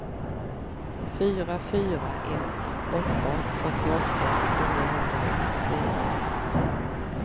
fyra fyra ett åtta fyrtioåtta niohundrasextiofyra